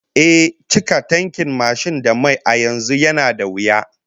Ehh, cika tankin mashin da mai a yanzu yana da wuya